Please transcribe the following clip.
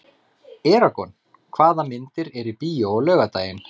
Eragon, hvaða myndir eru í bíó á laugardaginn?